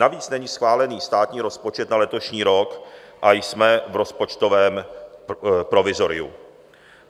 Navíc není schválen státní rozpočet na letošní rok a jsme v rozpočtovém provizoriu.